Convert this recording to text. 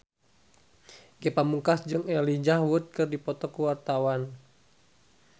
Ge Pamungkas jeung Elijah Wood keur dipoto ku wartawan